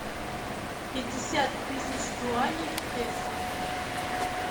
пятьдесят тысяч юаней в песо